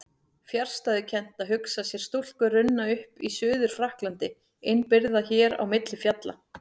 Fjarstæðukennt að hugsa sér stúlku runna upp í Suður-Frakklandi innibyrgða hér á milli fjalla.